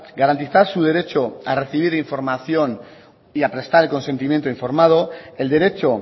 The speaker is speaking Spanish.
garantizar su derecho a recibir información y a prestar el consentimiento informado el derecho